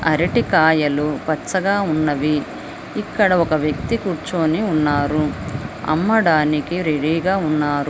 అరటికాయలు పచ్చగా ఉన్నవి ఇక్కడ ఒక వ్యక్తి కూర్చొని ఉన్నారు అమ్మడానికి రెడీగా ఉన్నారు.